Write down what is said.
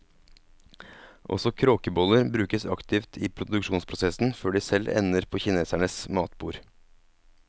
Også kråkeboller brukes aktivt i produksjonsprosessen før de selv ender på kinesernes matbord.